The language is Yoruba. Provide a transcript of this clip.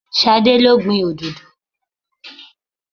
Ṣadé lo gbìn òdòdó.